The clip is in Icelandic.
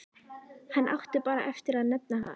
Hann átti bara eftir að nefna það.